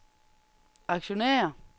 aktionærer